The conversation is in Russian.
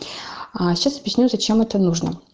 сейчас объясню зачем это нужно